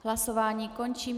Hlasování končím.